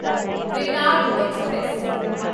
Venad express